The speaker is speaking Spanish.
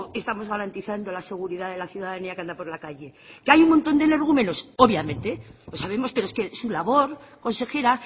estamos garantizando la seguridad de la ciudadanía que anda por la calle que hay un motón de energúmenos obviamente lo sabemos pero sabemos es su labor consejera